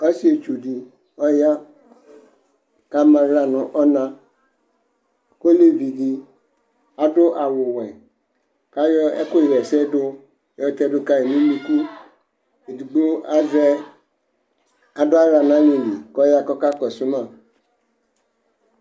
Ɔsɩetsʋ dɩ ɔya, kʋ ama aɣla nʋ ɔna; kʋ olevi dɩ adʋ awʋwɛ, kʋ ayɔ ɛkʋɣɛsɛdʋ yɔ tɛdʋ kayɩ nʋ unuku Edigbo avɛ, adʋ aɣla naleli, kʋ ɔya k'ɔka kɔsʋ ma